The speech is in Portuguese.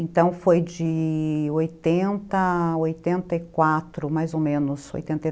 Então, foi de oitenta, oitenta e quatro, mais ou menos, oitenta e